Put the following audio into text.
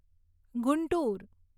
Guntur